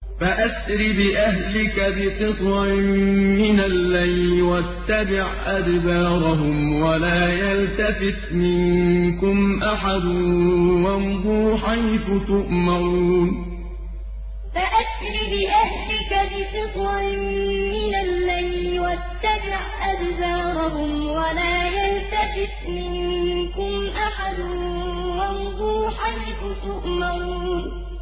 فَأَسْرِ بِأَهْلِكَ بِقِطْعٍ مِّنَ اللَّيْلِ وَاتَّبِعْ أَدْبَارَهُمْ وَلَا يَلْتَفِتْ مِنكُمْ أَحَدٌ وَامْضُوا حَيْثُ تُؤْمَرُونَ فَأَسْرِ بِأَهْلِكَ بِقِطْعٍ مِّنَ اللَّيْلِ وَاتَّبِعْ أَدْبَارَهُمْ وَلَا يَلْتَفِتْ مِنكُمْ أَحَدٌ وَامْضُوا حَيْثُ تُؤْمَرُونَ